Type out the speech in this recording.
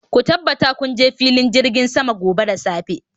ku tabbata kun kasance a filin jirgin sama gobe da safe